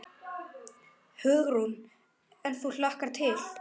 Hugrún: En þú hlakkar til?